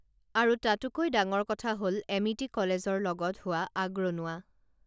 আৰু তাতোকৈ ডাঙৰ কথা হল এমিতি কলেজৰ লগত হোৱা আগৰনুৱা